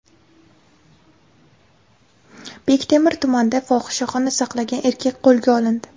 Bektemir tumanida fohishaxona saqlagan erkak qo‘lga olindi.